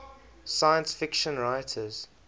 science fiction writers